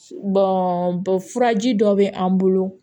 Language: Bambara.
furaji dɔ bɛ an bolo